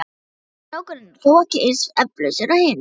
Bárður og strákurinn eru þó ekki eins efalausir og hinir.